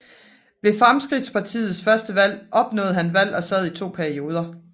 Ved Fremskridtspartiets første valg opnåede han valg og sad i to perioder